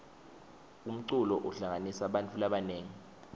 umculo uhlanganisa bantfu labanengi